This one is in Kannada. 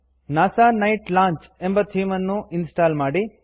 ನಾಸಾ ನೈಟ್ ಲಾಂಚ್ ಎಂಬ ಥೀಮ್ ಅನ್ನು ಇನ್ ಸ್ಟಾಲ್ ಮಾಡಿ